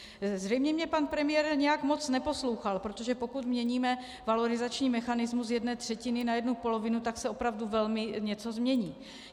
Zřejmě mě pan premiér nějak moc neposlouchal, protože pokud měníme valorizační mechanismus z jedné třetiny na jednu polovinu, tak se opravdu velmi něco změní.